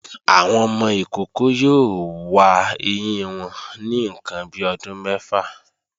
Àwọn ọmọ ìkókó yóò wa ẹyín wọn ní ǹkan bi ọdún mẹ́fà